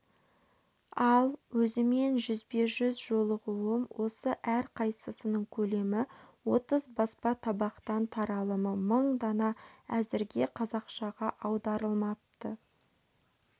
ал өзімен жүзбе-жүз жолығуым осы әрқайсысының көлемі отыз баспа табақтан таралымы мың дана әзірге қазақшаға аударылмапты